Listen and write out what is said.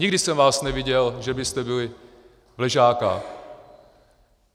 Nikdy jsem vás neviděl, že byste byli v Ležácích.